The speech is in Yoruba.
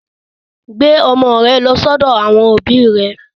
Gbé ọmọ rẹ lọ sọ́dọ̀ àwọn òbí rẹ.